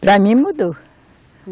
Para mim mudou.